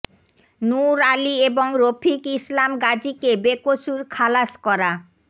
নূর আলি এবং রফিক ইসলাম গাজিকে বেকসুর খালাস করা